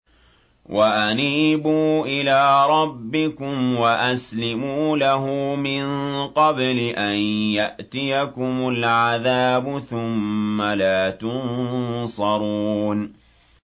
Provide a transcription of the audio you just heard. وَأَنِيبُوا إِلَىٰ رَبِّكُمْ وَأَسْلِمُوا لَهُ مِن قَبْلِ أَن يَأْتِيَكُمُ الْعَذَابُ ثُمَّ لَا تُنصَرُونَ